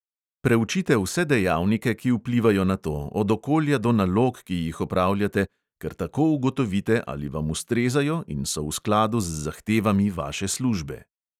Preučite vse dejavnike, ki vplivajo na to, od okolja do nalog, ki jih opravljate, ker tako ugotovite, ali vam ustrezajo in so v skladu z zahtevami vaše službe.